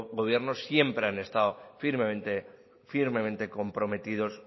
gobiernos siempre han estado firmemente comprometidos